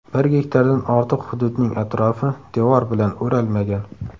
Bir gektardan ortiq hududning atrofi devor bilan o‘ralmagan.